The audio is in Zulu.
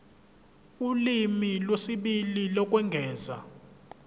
ulimi lwesibili lokwengeza